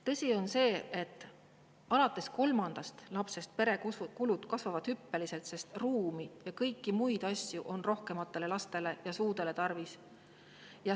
Tõsi on see, et alates kolmandast lapsest kasvavad pere kulud hüppeliselt, sest ruumi ja kõiki muid asju on rohkematele lastele ja suudele tarvis.